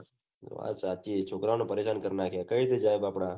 વાત સાચી છોકરાઓ ને પરેશાન કરી નાખ્યા કઈ રીતે જાય બાપડા